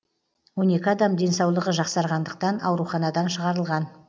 он екі адам денсаулығы жақсарғандықтан ауруханадан шығарылған